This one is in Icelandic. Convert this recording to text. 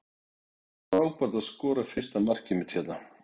Það var frábært að skora fyrsta markið mitt hérna.